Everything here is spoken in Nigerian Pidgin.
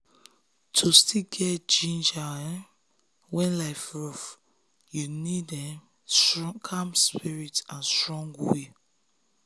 to still get ginger um when life rough you need um calm spirit and strong will.